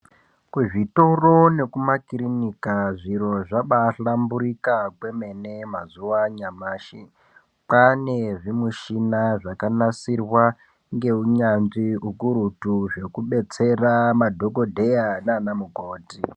Kuzvitoro nekumakirinika zviro zvabahlamburika kwemene mazuwa anyamashi kwaane zvimichini zvakanasirwa ngeunyanzvi ukurutu zvekudetsera madhokodheya nanamukoti.